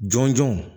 Jɔn jɔn